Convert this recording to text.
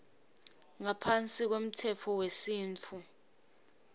ngaphansi kwemtsetfo wesintfu